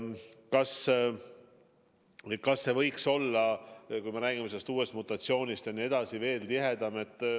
Kas koostöö võiks olla, näiteks kui me räägime sellest uuest mutatsioonist, veelgi tihedam?